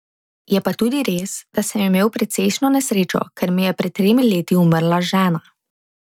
Je pa tudi res, da sem imel precejšnjo nesrečo, ker mi je pred tremi leti umrla žena.